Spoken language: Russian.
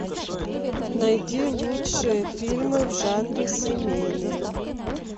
найди лучшие фильмы в жанре семейные